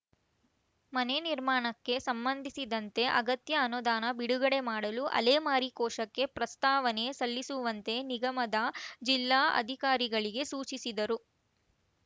ಮನೆ ನಿರ್ಮಾಣಕ್ಕೆ ಸಂಬಂಧಿಸಿದಂತೆ ಅಗತ್ಯ ಅನುದಾನ ಬಿಡುಗಡೆ ಮಾಡಲು ಅಲೆಮಾರಿ ಕೋಶಕ್ಕೆ ಪ್ರಸ್ತಾವನೆ ಸಲ್ಲಿಸುವಂತೆ ನಿಗಮದ ಜಿಲ್ಲಾ ಅಧಿಕಾರಿಗಳಿಗೆ ಸೂಚಿಸಿದರು